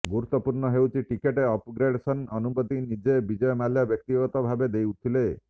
ଗୁରୁତ୍ୱପୂର୍ଣ୍ଣ ହେଉଛି ticket upgradation ଅନୁମତି ନିଜେ ବିଜୟ ମାଲ୍ୟା ବ୍ୟକ୍ତିଗତ ଭାବେ ଦେଉଥିଲେ